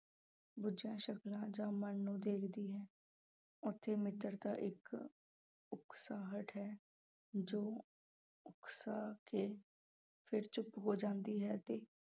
ਬੁੱਝਾਂ ਸ਼ਕਲਾਂ ਜਾਂ ਮਨ ਨੂੰ ਦੇਖਦੀ ਹੈ, ਉੱਥੇ ਮਿੱਤਰਤਾ ਇੱਕ ਉਕਸਾਹਟ ਹੈ ਜੋ ਉਕਸਾ ਕੇ ਫਿਰ ਚੁੱਪ ਹੋ ਜਾਂਦੀ ਹੈ ਤੇ